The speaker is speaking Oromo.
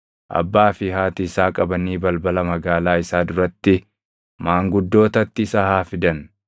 abbaa fi haati isaa qabanii balbala magaalaa isaa duratti maanguddootatti isa haa fidan.